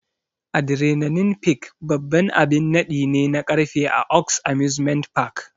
Adrenaline Peak babban abin naɗi ne na karfe a Oaks Amusement Park.